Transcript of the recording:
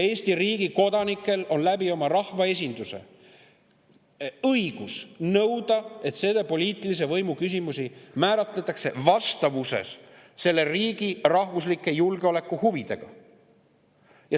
Eesti riigi kodanikel on oma rahvaesinduse kaudu õigus nõuda, et selle poliitilise võimu küsimusi määratletaks vastavuses selle riigi rahvuslike julgeolekuhuvidega.